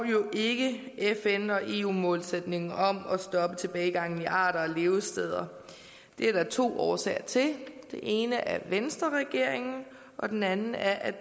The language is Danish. jo ikke fn og eu målsætningen om at stoppe tilbagegangen i arter og levesteder det er der to årsager til den ene er venstreregeringen og den anden er at